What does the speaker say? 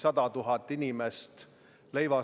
Peaaegu iga ettepaneku taha on kirjutatud "valitsuse reservfond".